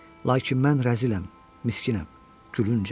Lakin mən rəziləm, miskinəm, gülüncəm.